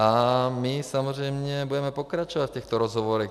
A my samozřejmě budeme pokračovat v těchto rozhovorech.